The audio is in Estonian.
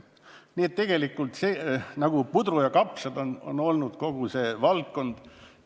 Nii et tegelikult on kogu see valdkond olnud nagu puder ja kapsad.